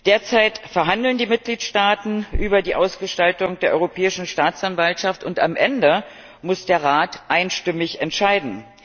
Derzeit verhandeln die Mitgliedstaaten über die Ausgestaltung der Europäischen Staatsanwaltschaft, und am Ende muss der Rat einstimmig entscheiden.